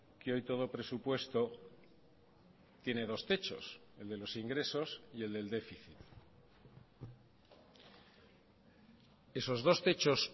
que hoy todo presupuesto tiene dos techos el de los ingresos y el del déficit esos dos techos